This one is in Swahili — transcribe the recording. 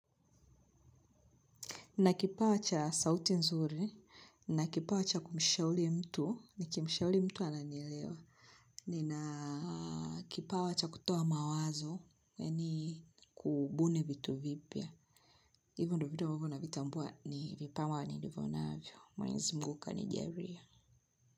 Ninakipawa cha sauti nzuri, ninakipawa cha kumshauri mtu, nikimshauri mtu ananielewa. Nina kipawa cha kutoa mawazo yaani kubuni vitu vipya. Hivyo ndo vitu ambavyo navitambua ni vipawa nilivonavyo. Mwenzi Mungu kanijalia.